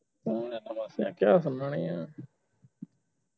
ਕਿਹਾ ਉਨ੍ਹਾਂ ਨੇ ਆ